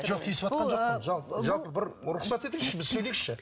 жоқ тиісіватқан жоқпын жалпы бір рұқсат етіңізші біз сөйлейікші